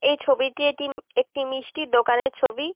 এই ছবিটি এটি একটি মিষ্টির দোকানের ছবি।